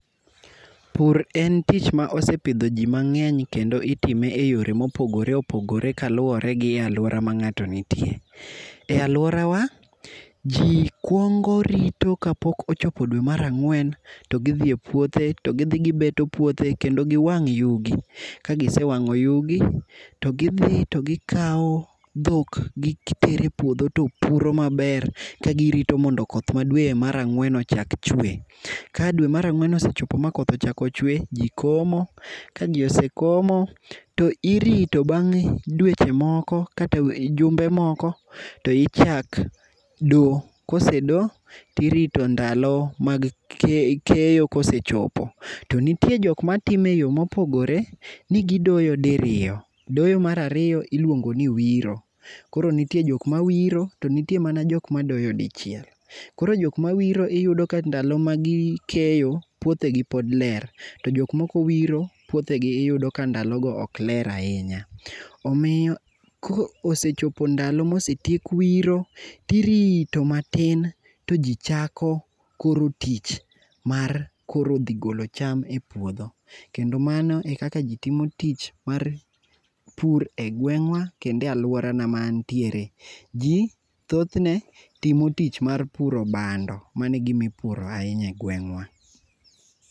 Pur en tich ma osepidho ji mang'eny kendo itime eyore mopogore opogore kaluwore gi aluora ma ng'ato nitie. E aluorawa, ji kwongo rito kapok ochopo dwe mar ang'wen, to gidhi e puothe, to gidhi gibeto puothe kendo giwang' yugi. Ka gisewang'o yugi, to gidhi to gikawo dhok gitero e puodho to puro maber kagirito mondo koth ma dwe mar ang'wen chak chwe. Ka dwe mar ang'wen osechopo makoth ochako chwe, ji komo, kaji osekomo to irito bang' dweche moko kata jumbe moko to ichak do. Kose do, tirito ndalo mag keyo kosechopo. To nitie jok matime eyo mopogore, ni gidoyo diriyo. Doyo mar ariyo iluongo ni wiro. Koro nitie jok ma wiro to nitie man jok madoyo dichiel. Koro jok mawiro iyudo ka ndalo magikeyo puothjegi pod ler. To jok mok owiro puothegi iyudo ka ndalogo ok ler ahinya. Omiyo kosechopo ndalo ma osetiek wiro, tirito matin to ji chako koro tich mar dhi golo cham e puodho. Kendo mano e kaka ji timo tich mar pur e gweng' wa, kendo e aluorana ma antiere. Ji thothne timo tich mar puro bando. Mano e gima upuro ahinya egweng'wa.